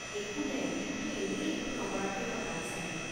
একো নাই, দিনটো এনেই একো নকৰাকৈ কটাম চাগে।